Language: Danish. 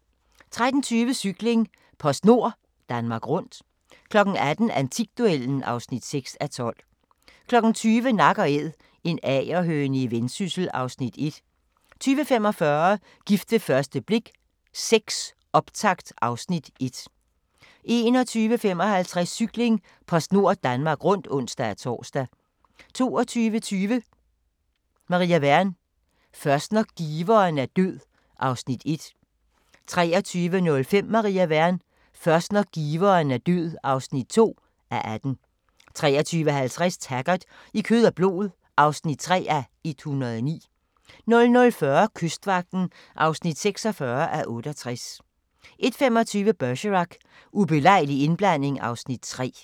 13:20: Cykling: PostNord Danmark Rundt 18:00: Antikduellen (6:12) 20:00: Nak & Æd – en agerhøne i Vendsyssel (Afs. 1) 20:45: Gift ved første blik VI – optakt (Afs. 1) 21:55: Cykling: PostNord Danmark Rundt (ons-tor) 22:20: Maria Wern: Først når giveren er død (Afs. 1) 23:05: Maria Wern: Først når giveren er død (2:18) 23:50: Taggart: I kød og blod (3:109) 00:40: Kystvagten (46:68) 01:25: Bergerac: Ubelejlig indblanding (Afs. 3)